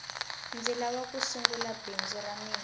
ndzi lava ku sungula bindzu ra mina